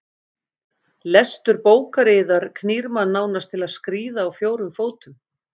Lestur bókar yðar knýr mann nánast til að skríða á fjórum fótum.